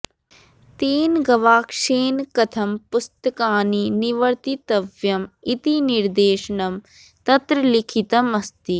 तेन गवाक्षेन कथं पुस्तकानि निवर्तितव्यम् इति निर्देशनं तत्र लिखितम् अस्ति